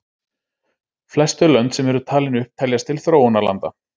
Flest þau lönd sem eru talin upp teljast til þróunarlanda.